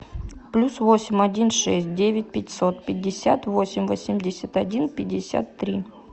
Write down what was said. плюс восемь один шесть девять пятьсот пятьдесят восемь восемьдесят один пятьдесят три